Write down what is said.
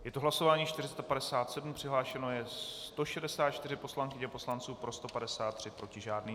Je to hlasování 457, přihlášeno je 164 poslankyň a poslanců, pro 153, proti žádný.